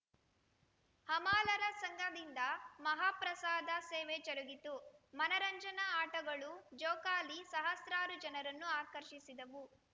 ಹಮಾಲರ ಸಂಘದಿಂದ ಮಹಾಪ್ರಸಾದ ಸೇವೆ ಜರುಗಿತು ಮನರಂಜನಾ ಆಟಗಳು ಜೋಕಾಲಿ ಸಹಸ್ರಾರು ಜನರನ್ನು ಆಕರ್ಷಿಸಿದವು